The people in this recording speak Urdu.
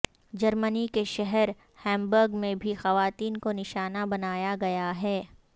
جرمنی کے شہر ہیمبرگ میں بھی خواتین کو نشانہ بنایا گیا ہے